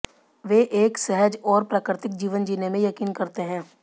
वे एक सहज और प्राकृतिक जीवन जीने में यकीन करते हैं